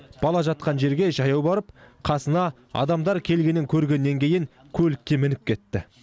бала жатқан жерге жаяу барып қасына адамдар келгенін көргеннен кейін көлікке мініп кетті